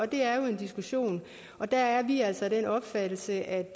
det er jo en diskussion og der er vi altså af den opfattelse at